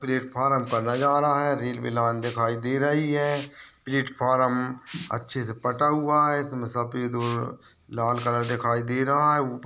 Platform का नज़ारा है रेल मिलान दिखाई दे रही है प्लेटफार्म अच्छे से पता हुआ है इसमें सफेद और लाल कलर दिखाई दे रहा है।